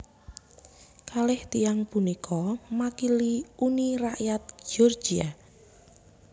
Kalih tiyang punika makili Uni Rakyat Georgia